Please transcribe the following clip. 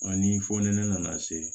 A ni fɔ ni ne nana se